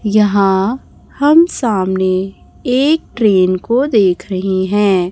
यहां हम सामने एक ट्रेन को देख रहे हैं।